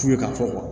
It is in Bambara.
Fu ye ka fɔ